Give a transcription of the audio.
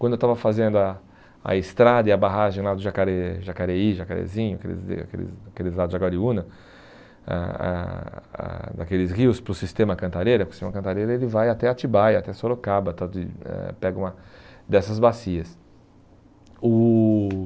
Quando eu estava fazendo a a estrada e a barragem lá do Jacare Jacareí, Jacarezinho, aqueles lados de Aguariúna, ãh ãh ãh daqueles rios para o Sistema Cantareira, porque o Sistema Cantareira vai até Atibaia, até Sorocaba tal de eh, pega uma dessas bacias. O